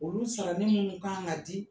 Olu sara ni minnu k'an ka di